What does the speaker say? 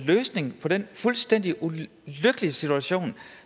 løsning på den fuldstændig ulykkelige situation